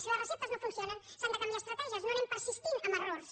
si les receptes no funcionen s’han de canviar estratègies no anem persistint en errors